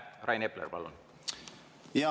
Rain Epler, palun!